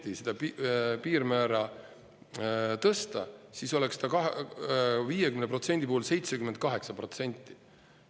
Ja kui nüüd 50% piirmäära tõsta, siis oleks ta 50% puhul 78%.